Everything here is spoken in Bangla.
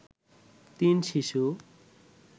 তিন শিশু